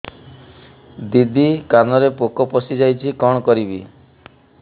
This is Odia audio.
ଦିଦି କାନରେ ପୋକ ପଶିଯାଇଛି କଣ କରିଵି